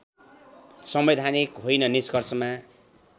संवैधानिक होइन निष्कर्षमा